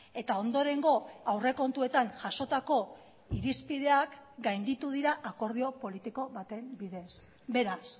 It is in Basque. eta ondorengo aurrekontuetan jasotako irizpideak gainditu dira akordio politiko baten bidez beraz